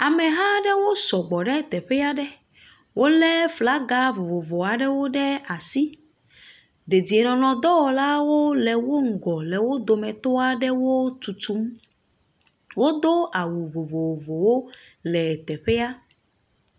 Ameha aɖewo sɔgbɔ ɖe teƒa ɖe. Wole flaga vovovo aɖewo ɖe asi. Dedienɔnɔdɔwɔlawo le wo ŋgɔ le wo dometɔa ɖewo tutum. Wodo awɔ vovovowo le teƒea.